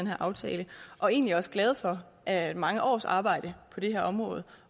her aftale og egentlig også glade for at mange års arbejde på det her område